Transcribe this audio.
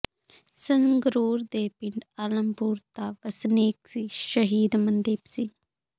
ਸੰਗਰੂਰ ਦੇ ਪਿੰਡ ਆਲਮਪੁਰ ਦਾ ਵਸਨੀਕ ਸੀ ਸ਼ਹੀਦ ਮਨਦੀਪ ਸਿੰਘ